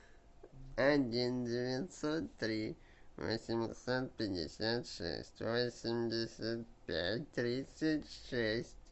один девятьсот три восемьсот пятьдесят шесть восемьдесят пять тридцать шесть